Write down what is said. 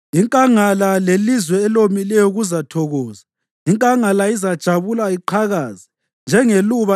Inkangala lelizwe elomileyo kuzathokoza; inkangala izajabula iqhakaze. Njengeluba